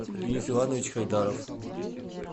денис иванович хайдаров